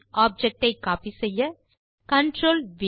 object ஐ copy செய்ய CTRLV